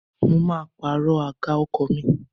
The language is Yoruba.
Mo máa pàrọ̀ àga ọkọ̀ mi.